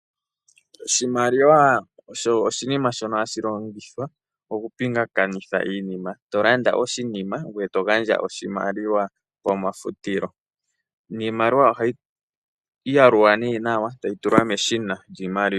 Oshimaliwa osho oshinima shoka hashi longithwa oku pingakanitha iinima ngaashi nee ando tolanditha oshinima yoo aantu mba ya hala oshinima shoka ohaye ku pe nee oshimaliwa. Iimaliwa ngele tayi yalulwa ohayi tulwa nee meshina ndyoka lyiimaliwa.